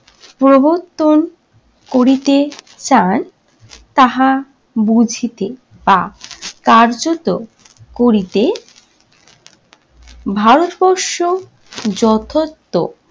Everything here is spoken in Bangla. প্রবর্তন করিতে চান তাহা বুঝিতে বা কার্যত করিতে ভারতবর্ষ যথার্থ